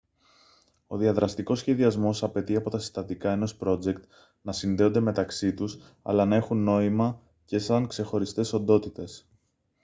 ο διαδραστικός σχεδιασμός απαιτεί από τα συστατικά ενός πρότζεκτ να συνδέονται μεταξύ τους αλλά να έχουν νόημα και σαν ξεχωριστές οντότητες